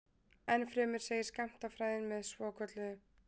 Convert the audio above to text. Ennfremur segir skammtafræðin með svokölluðu